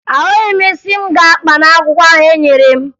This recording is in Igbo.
Ahụghị m isi m ga-akpa n'akwụkwọ ahụ enyere m